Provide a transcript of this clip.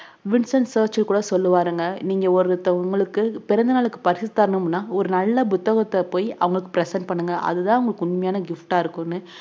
Vincent Churchill கூட சொல்லுவாருங்க நீங்க ஒருத்த~ உங்களுக்கு பிறந்த நாளுக்கு பரிசு தரணும்னா ஒரு நல்ல புத்தகத்த போயி அவங்களுக்கு present பண்ணுங்க அதுதான் அவங்ளுக்கு உண்மையான gift ஆ இருக்கும்னு